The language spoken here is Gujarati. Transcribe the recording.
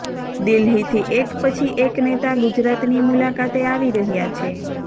દિલ્હીથી એક પછી એક નેતા ગુજરાતની મુલાકાતે આવી રહ્યા છે